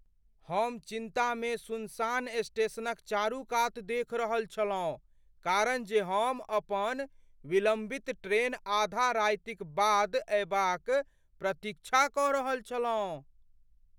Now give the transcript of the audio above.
हम चिन्तामे सुनसान स्टेशनक चारू कात देखि रहल छलहुँ कारण जे हम अपन विलम्बित ट्रेन आधा रातिक बाद अएबाक प्रतीक्षा कऽ रहल छलहुँ।